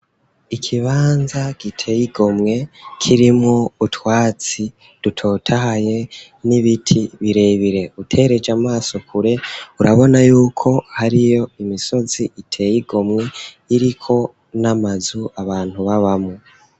Ikibanza giteye igomwe kirimwo utwatsi rutotahaye n'ibiti birebire utereje amaso kure urabona yuko hariyo imisozi iteye igomwe iriko n'amazu abantu babamwo.